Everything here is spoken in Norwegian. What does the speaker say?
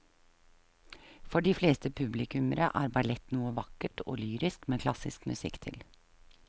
For de fleste publikummere er ballett noe vakkert og lyrisk med klassisk musikk til.